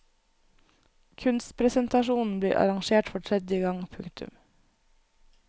Kunstpresentasjonen blir arrangert for tredje gang. punktum